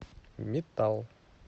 метал